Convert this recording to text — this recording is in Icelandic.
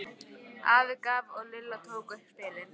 Afi gaf og Lilla tók upp spilin.